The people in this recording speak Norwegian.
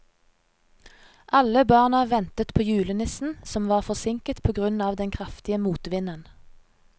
Alle barna ventet på julenissen, som var forsinket på grunn av den kraftige motvinden.